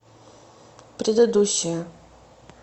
предыдущая